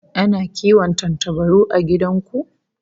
Ana kiwon tantabaru a gidan ku?